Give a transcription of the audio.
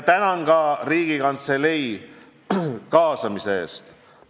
Tänan ka Riigikantselei kaasamise eest!